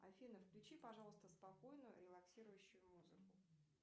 афина включи пожалуйста спокойную релаксирующую музыку